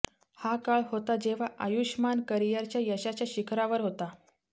हा काळ होता जेव्हा आयुषमान करियरच्या यशाच्या शिखरावर होता